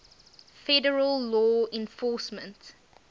federal law enforcement